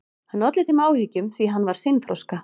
Hann olli þeim áhyggjum því að hann var seinþroska.